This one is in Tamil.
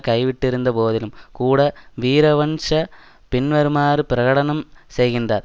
கைவிட்டிருந்த போதிலும் கூட வீரவன்ச பின்வருமாறு பிரகடனம் செய்கின்றார்